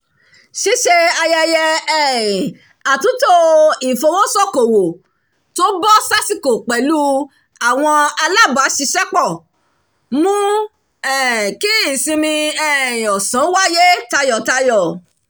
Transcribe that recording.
ṣíṣe ayẹyẹ um àtúntò ìfowósókowò tó bọ́ sásìkò pẹ̀lú àwọn alábàáṣiṣẹ́pọ̀ mú kí ìsinmi um ọ̀sán wáyé tayọ̀tayọ̀